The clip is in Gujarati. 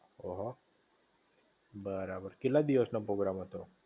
ઓહો! બરાબર કેટલા દિવસ નો પ્રોગ્રામ હતો?